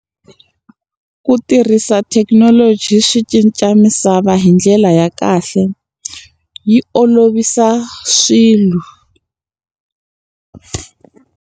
Ku tirhisa thekinoloji swi cinca misava hi ndlela ya kahle, yi olovisa swilo.